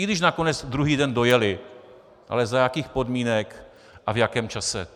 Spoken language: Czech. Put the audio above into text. I když nakonec druhý den dojeli, ale za jakých podmínek a v jaké čase.